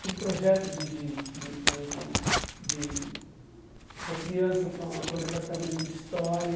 Fiz projetos de de de com com de para criança com a com o departamento de História.